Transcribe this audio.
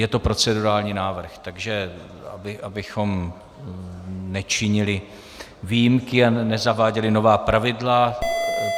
Je to procedurální návrh, takže abychom nečinili výjimky a nezaváděli nová pravidla.